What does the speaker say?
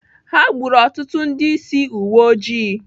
Ha gburu ọtụtụ ndị ísí uweojii.